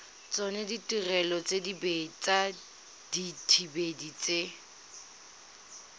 tsona ditirelo tsa dithibedi tse